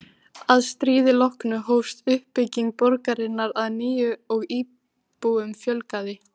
Að stríði loknu hófst uppbygging borgarinnar að nýju og íbúum fjölgaði.